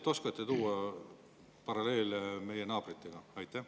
Oskate te tuua paralleele meie naabritega?